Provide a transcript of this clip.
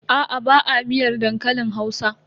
Aa ba a miyar dankalin Hausa.